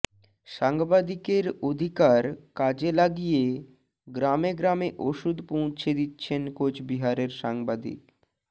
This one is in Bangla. সাংবাদিকের অধিকার কাজে লাগিয়ে গ্রামে গ্রামে ওষুধ পৌঁছে দিচ্ছেন কোচবিহারের সাংবাদিক